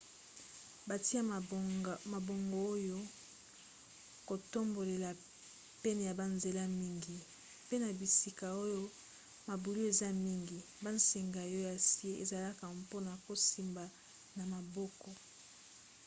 batia mabongo ya kotambolela pene ya banzela mingi mpe na bisika oyo mabulu eza mingi bansinga ya acier ezalaka mpona kosimba na maboko